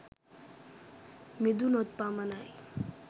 මිදුණොත් පමණයි